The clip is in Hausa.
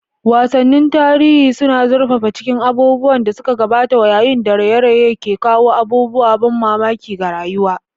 Wasannin tarihi suna zurfafa cikin abubuwan da suka gabata, yayin da raye-raye ke kawo abubuwan ban mamaki ga rayuwa.